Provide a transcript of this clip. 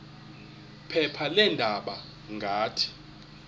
phepha leendaba ngathi